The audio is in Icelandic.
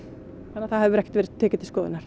þannig að það hefur ekkert verið tekið til skoðunar